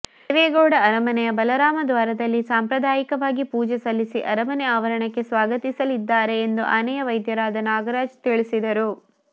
ದೇವೇಗೌಡ ಅರಮನೆಯ ಬಲರಾಮ ದ್ವಾರದಲ್ಲಿ ಸಂಪ್ರದಾಯಿಕವಾಗಿ ಪೂಜೆ ಸಲ್ಲಿಸಿ ಅರಮನೆ ಆವರಣಕ್ಕೆ ಸ್ವಾಗತಿಸಲಿದ್ದಾರೆ ಎಂದು ಆನೆಯ ವೈದ್ಯರಾದ ನಾಗರಾಜ್ ತಿಳಿಸಿದರು